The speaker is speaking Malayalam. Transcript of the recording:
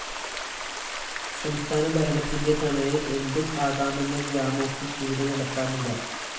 സംസ്ഥാന ഭരണത്തിന്റെ തണലില്‍ എന്തു ആകാമെന്ന വ്യാമോഹം ഇവിടെ നടപ്പാകില്ല